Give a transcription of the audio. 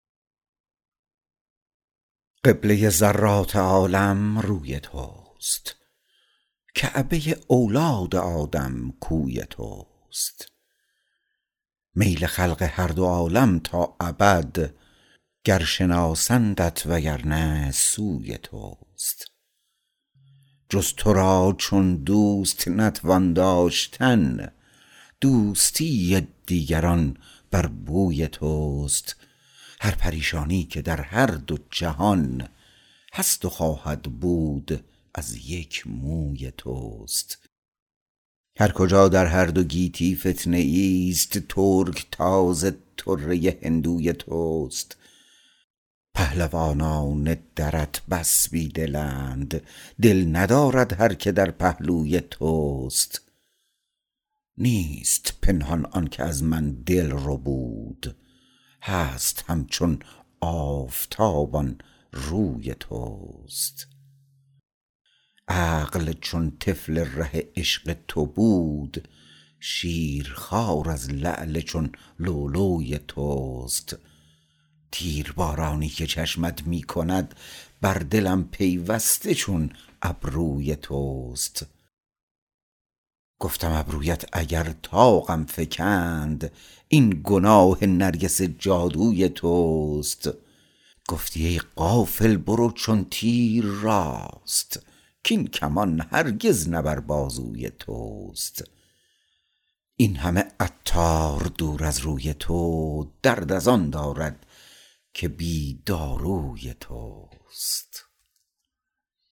قبله ذرات عالم روی توست کعبه اولاد آدم کوی توست میل خلق هر دو عالم تا ابد گر شناسند و اگر نی سوی توست چون به جز تو دوست نتوان داشتن دوستی دیگران بر بوی توست هر پریشانی که در هر دو جهان هست و خواهد بود از یک موی توست هر کجا در هر دو عالم فتنه ای است ترکتاز طره هندوی توست پهلوانان درت بس بی دلند دل ندارد هر که در پهلوی توست نیست پنهان آنکه از من دل ربود هست همچون آفتاب آن روی توست عقل چون طفل ره عشق تو بود شیرخوار از لعل پر لؤلؤی توست تیربارانی که چشمت می کند بر دلم پیوسته از ابروی توست گفتم ابرویت اگر طاقم فکند این گناه نرگس جادوی توست گفتم ای عاقل برو چون تیر راست کین کمان هرگز نه بر بازوی توست این همه عطار دور از روی تو درد از آن دارد که بی داروی توست